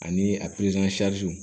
Ani a